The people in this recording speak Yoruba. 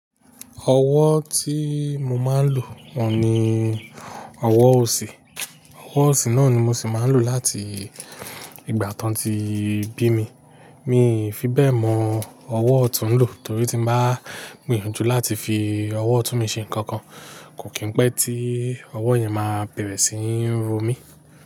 Ọwọ́ tí mo máa ń lò oun ni ọwọ́ òsì. Ọwọ́ òsì náà ni mo sì máa ń lò láti ìgbà tí wọ́n ti bí mi. Mi ò fi bẹ́ẹ̀ mọ ọwọ́ ọ̀tún lò torí tí n bá gbìyànjú láti fi ọwọ́ ọ̀tún mi ṣe nǹkan kan, kò kí pé tí ọwọ́ yẹn máa bẹ̀rẹ̀ sí ní ro mí.